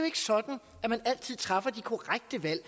ikke sådan at man altid træffer de korrekte valg